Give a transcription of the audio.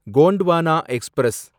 Gondwana express